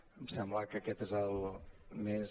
em sembla que aquest és el més